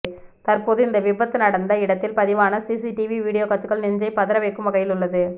தற்போது இந்த விபந்து நடந்த இடத்தில் பதிவான சிசிடிவி வீடியோ காட்சிகள் நெஞ்சை பதற கைக்கும் வகையில் உள்ளது